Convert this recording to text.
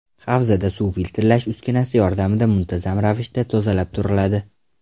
Havzada suv filtrlash uskunasi yordamida muntazam ravishda tozalab turiladi.